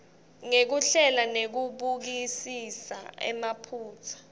ngekuhlela nekubukisisa emaphutsa